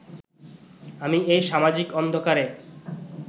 আমি এই সামাজিক অন্ধকারে